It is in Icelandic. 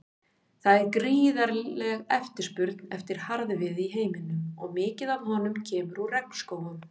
Það er gífurleg eftirspurn eftir harðviði í heiminum og mikið af honum kemur úr regnskógum.